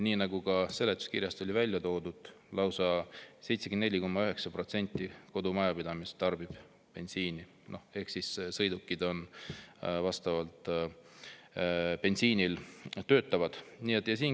Nii nagu seletuskirjas on välja toodud, kodumajapidamiste bensiinitarbimises on lausa 74,9% ehk nende sõidukid töötavad bensiinil.